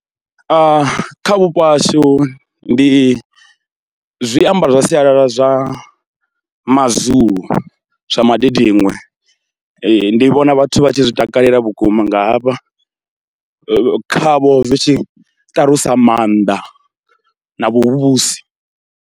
Kha vhupo hashu ndi zwiambaro zwa sialala zwa maZulu zwa madidiṅwe, ndi vhona vhathu vha tshi zwi takalela vhukuma nga hafha khavho zwi tshi ṱalusa maanḓa na vhuvhusi.